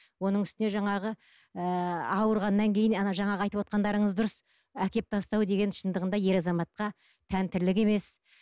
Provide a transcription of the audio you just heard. оның үстіне жаңағы ы ауырғаннан кейін ана жаңағы айтып отырғандарыңыз дұрыс әкеліп тастау деген шындығында ер азаматқа тән тірлік емес